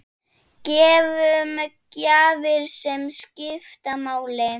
Gefum gjafir sem skipta máli.